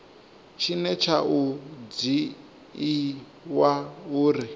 tshine tsha o dzhiiwa uri